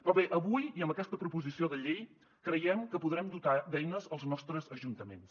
però bé avui i amb aquesta proposició de llei creiem que podrem dotar d’eines els nostres ajuntaments